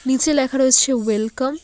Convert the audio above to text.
নীচে লেখা রয়েছে ওয়েলকাম ।